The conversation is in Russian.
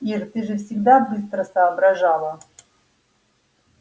ир ты же всегда быстро соображала